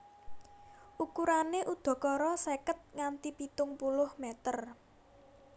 Ukurané udakara seket nganti pitung puluh meter